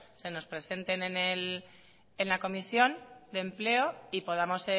se nos presenten en la comisión de empleo y podamos